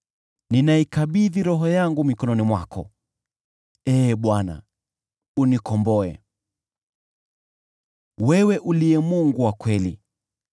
Ninaikabidhi roho yangu mikononi mwako, unikomboe Ee Bwana , uliye Mungu wa kweli.